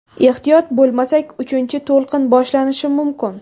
Ehtiyot bo‘lmasak, uchinchi to‘lqin boshlanishi mumkin.